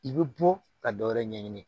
I bɛ bɔ ka dɔ wɛrɛ ɲɛɲini